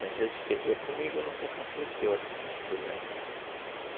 Tem vezes que comigo nunca aconteceu essas coisas ruins.